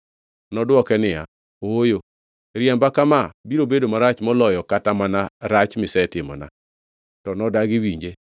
Nodwoke niya, “Ooyo. Riemba kama biro bedo marach moloyo kata mana rach misetimona.” To nodagi winje.